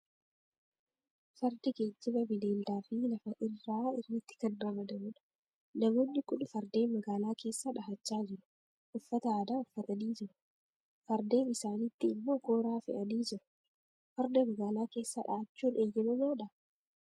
Fardi geejjiba bineeldaa fi lafa irraa irratti kan ramadamu dha. Namoonni kun fardeen magaalaa keessa dhahachaa jiru. Uffata aadaa uffatanii jiru. Fardeen isaanitti immoo kooraa fe'anii jiru. Farda magaalaa keessa dhaa'achuun eeyyamamaadhaa?